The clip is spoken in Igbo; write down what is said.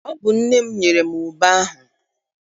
Ọ bụ nne m nyere m ube ahụ.